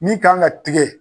Ni k'an ka tigɛ